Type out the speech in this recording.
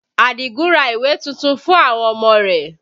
Adigun ra ìwé tuntun fún àwọn ọmọ rẹ